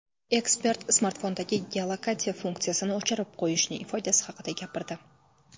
Ekspert smartfondagi geolokatsiya funksiyasini o‘chirib qo‘yishning foydasi haqida gapirdi.